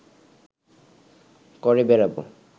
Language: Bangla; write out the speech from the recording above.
করে বেড়াব